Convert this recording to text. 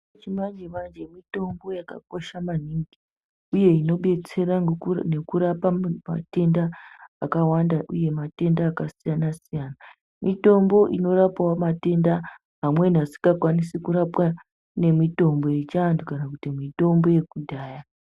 Mitombo yechimanje-manje mitombo yakakosha maningi, uye inobetsera nekurapa matenda akawanda uye matenda akasiyana-siyana. Mitombo inorapavo matenda amweni asikakwanisi kurapwa nemitombo yechiantu kana kuti mitombo yakudhaya.